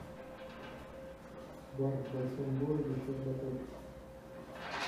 бар в большом городе щербаков